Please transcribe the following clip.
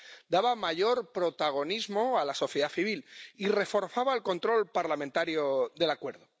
Daba mayor protagonismo a la sociedad civil y reforzaba el control parlamentario del acuerdo.